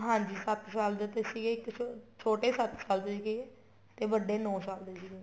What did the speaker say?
ਹਾਂਜੀ ਸੱਤ ਸਾਲ ਦੇ ਤੇ ਸੀਗੇ ਇੱਕ ਛੋਟੋ ਸੱਤ ਸਾਲ ਦੇ ਸੀਗੇ ਤੇ ਵੱਡੇ ਨੋ ਸਾਲ ਦੇ ਸੀਗੇ